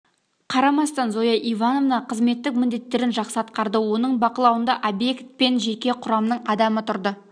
қарамастан зоя ивановна қызметтік міндеттерін жақсы атқарды оның бақылауында обьект пен жеке құрамның адамы тұрды